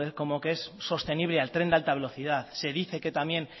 como que es sostenible al tren de alta velocidad se dice que también